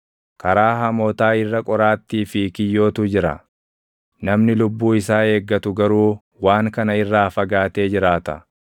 Karaa hamootaa irra qoraattii fi kiyyootu jira; namni lubbuu isaa eeggatu garuu // waan kana irraa fagaatee jiraata.